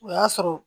O y'a sɔrɔ